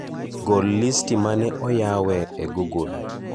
Gol listi mane oyawe e google